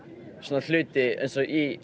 hluti eins og í